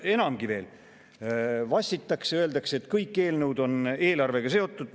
Enamgi veel, vassitakse ja öeldakse, et kõik eelnõud on eelarvega seotud.